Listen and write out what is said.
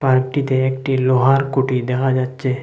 পার্কটিতে একটি লোহার কুটির দেখা যাচ্চে।